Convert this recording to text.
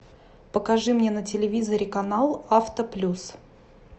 покажи мне на телевизоре канал авто плюс